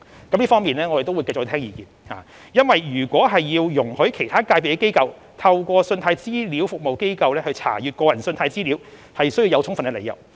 我們會就這方面繼續聽取相關意見，因為如要容許其他界別的機構透過信貸資料服務機構查閱個人信貸資料，須有充分理由。